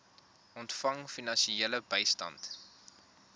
ontvang finansiële bystand